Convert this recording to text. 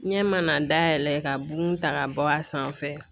Ɲɛ mana dayɛlɛ ka bun ta ka bɔ a sanfɛ